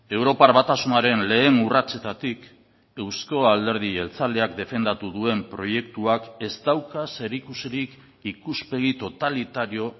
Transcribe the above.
europar batasunaren lehen urratsetatik euzko alderdi jeltzaleak defendatu duen proiektuak ez dauka zerikusirik ikuspegi totalitario